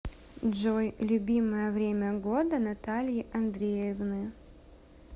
джой любимое время года натальи андреевны